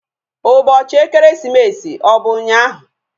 Ụbọchị ekeresimesi ọ bụ ụnyaahụ?